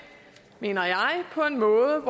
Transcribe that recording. mener jeg på en måde